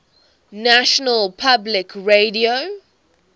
national public radio